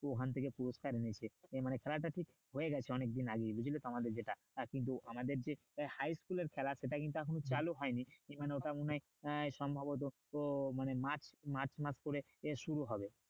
ওখান থেকে পুরস্কার এনেছে এই মানে খেলাটা কিন্তু হয়ে গেছে অনেক দিন আগে বুঝলে তো আমাদের যেটা কিন্তু আমাদের যে high school এর খেলা সেটা কিন্তু এখনও চালু হয়নি কি মানে ওটা মনে হয় আহ সম্ভবত ও মানে মার্চ মার্চ মাস করে এ শুরু হবে